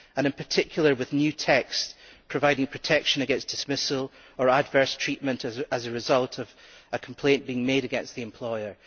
In particular, there is new text providing protection against dismissal or adverse treatment as a result of a complaint being made against the employer.